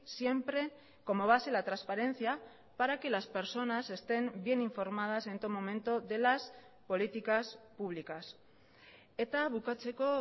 siempre como base la transparencia para que las personas estén bien informadas en todo momento de las políticas públicas eta bukatzeko